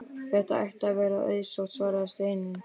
Það ætti að vera auðsótt svaraði Steinunn.